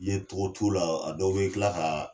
Ye cogo t'u la , a dɔw bɛ tila ka